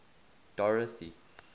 dorothy